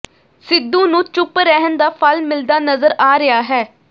ਸਿੱਧੂ ਨੂੰ ਚੁੱਪ ਰਹਿਣ ਦਾ ਫਲ ਮਿਲਦਾ ਨਜਰ ਆ ਰਿਹਾ ਹੈ